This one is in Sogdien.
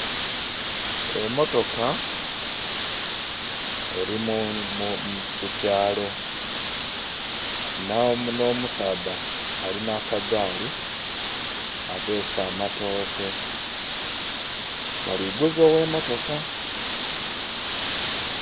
Emotoka eri ku kyaalo nh'omusadha alinha akagaali abeese amatooke bali'guza ogh'emotoka